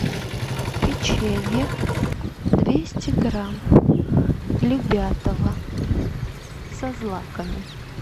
печенье двести грамм любятово со злаками